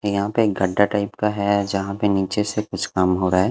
यहाँ पे एक गड्डा टाइप का है जहाँ पे नीचे से कुछ काम हो रहा है।